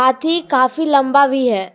हाथी काफी लंबा भी है।